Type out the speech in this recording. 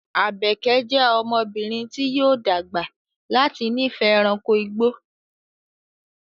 Àbèké jẹ́ ọmọbìnrin tí yóò dàgbà láti nífẹ̀ẹ́ ẹranko igbó